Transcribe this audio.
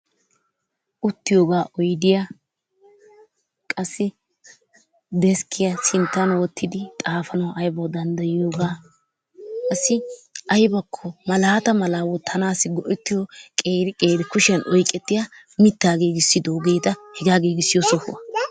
Uttiyoogaa oydiya qassi deskkiya sinttan wottidi xaafanawu aybbawu danddayiyoogaa qassi aybakko malaata malaa wotanaassi go'ettiyo qeeri qeeri kushiyan oyqqettiya mitaa giigissidoogeeta hegaa giigissiyo sohuwa.